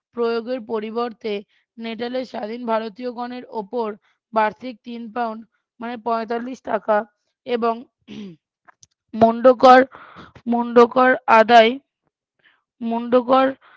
প্রয়োগের পরিবর্তে নেটালের স্বাধীন ভারতীয়গণের ওপর বার্ষিক তিন পাউন্ড মানে পঁয়তাল্লিশ টাকা এবং মণ্ডকর মন্ডকর আদায় মন্ডকর